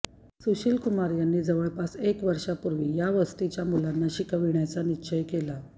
सुशील कुमार यांनी जवळपास एक वर्षांपूर्वी या वस्तीच्या मुलांना शिकविण्याचा निश्चय केला